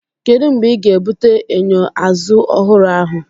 Kedu mgbe ị ga-ebute enyo azụ ọhụrụ ahụ?